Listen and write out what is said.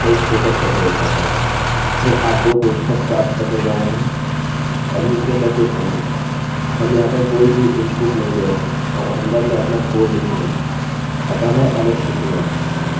फिर आप दो कोष्ठक प्राप्त करने जा रहे हैं अभी इनके अंदर कुछ नहीं है हम यहाँ पर कोई भी इनपुट input नहीं ले रहे हैं और अंदर मैं अपना कोडcode लिखूंगा अतः मैं alex लिखूँगा